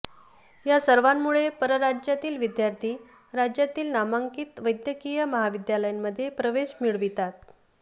या सर्वांमुळे परराज्यातील विद्यार्थी राज्यातील नामांकित वैद्यकीय महाविद्यालयांमध्ये प्रवेश मिळवितात